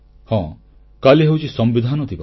ହଁ କାଲି ହେଉଛି ସମ୍ବିଧାନ ଦିବସ